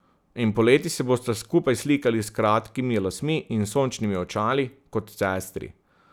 In poleti se bosta skupaj slikali s kratkimi lasmi in sončnimi očali, kot sestri.